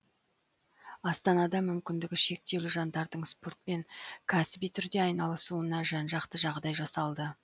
астанада мүмкіндігі шектеулі жандардың спортпен кәсіби түрде айналысуына жан жақты жағдай жасалды